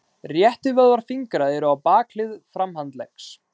Réttivöðvar fingra eru á bakhlið framhandleggs.